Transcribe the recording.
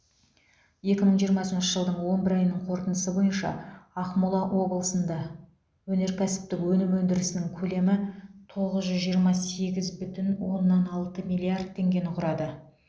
екі мың жиырмасыншы жылдың он бір айының қорытындысы бойынша ақмола облысында өнеркәсіптік өнім өндірісінің көлемі тоғыз жүз жиырма сегіз бүтін оннан алты миллиард теңгені құрады